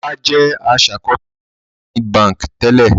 Ọlá jẹ́ aṣàkọsílẹ̀ ní Zenith Báńkì tẹ́lẹ̀.